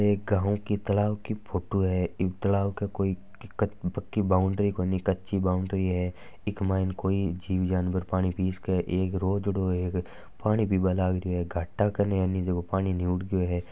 एक गाव की तालाब की फोटो हैं तलाव की कोई काची कोई पकी बाउंड्री हैं इस तलब म इ कोई जीव जानवर पानी पि ल्यौ एक रोझ्दो हैं पानी पिने लाग ल्यो हैं घाटा कन पाणी निमड़ गयो हैं।